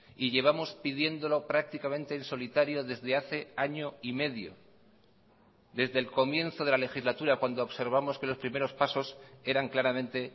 y llevamos pidiéndolo prácticamente en solitario desde hace año y medio desde el comienzo de la legislatura cuando observamos que los primeros pasos eran claramente